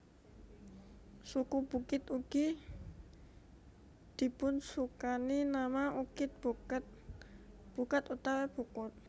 Suku Bukit ugi dipunsukani nama Ukit Buket Bukat utawi Bukut